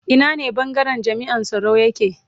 Ina ne bangaren jami'an tsaro yake